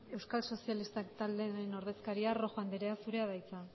euskal sozialistak taldearen ordezkaria rojo andrea zurea da hitza